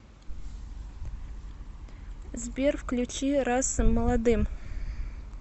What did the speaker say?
сбер включи раса молодым